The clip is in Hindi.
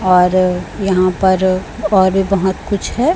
और यहां पर और बहोत कुछ है।